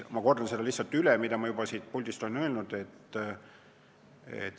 Ma kordan lihtsalt üle, mida ma siit puldist juba olen öelnud.